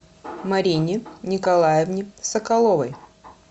марине николаевне соколовой